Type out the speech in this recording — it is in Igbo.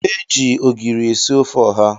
Ee, e ji ogiri esi ofe ọha